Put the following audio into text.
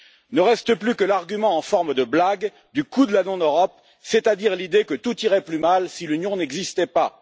Ne reste plus que l'argument en forme de blague du coût de la non Europe, c'est à dire l'idée que tout irait plus mal si l'Union n'existait pas.